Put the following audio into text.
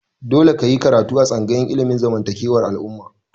Dole ka yi karatu a tsangayar ilimin zamantakewar al'umma!